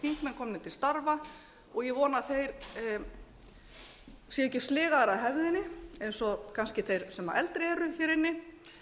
komnir til starfa og ég vona að þeir séu ekki sligaðir af hefðinni eins og kannski þeir sem eldri eru hér inni